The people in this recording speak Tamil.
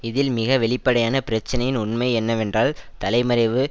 இதில் மிக வெளிப்படையான பிரச்சனையின் உண்மை என்னவென்றால் தலைமறைவு